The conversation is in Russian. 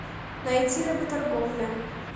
найти работорговля